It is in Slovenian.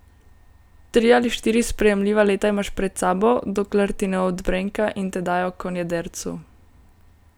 Tri ali štiri sprejemljiva leta imaš pred sabo, dokler ti ne odbrenka in te dajo konjedercu.